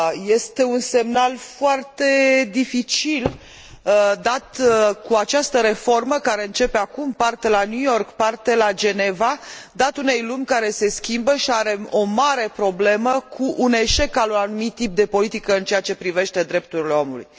Este un semnal foarte dificil dat cu această reformă care începe acum, parte la New York, parte la Geneva, dat unei lumi care se schimbă și are o mare problemă cu un eșec al unui anumit tip de politică în ceea ce privește drepturile omului.